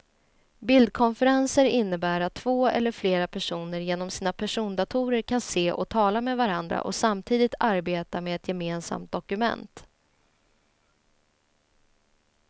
Bildkonferenser innebär att två eller flera personer genom sina persondatorer kan se och tala med varandra och samtidigt arbeta med ett gemensamt dokument.